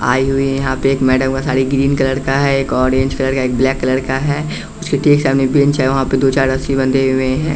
आई हुई है यहाँ पे एक मैडम का साड़ी ग्रीन कलर का है एक ऑरेंज कलर का ब्लैक कलर का है उसके ठीक सामने बेंच है वहाँ पे दो-चार रस्सी बंधे हुए हैं।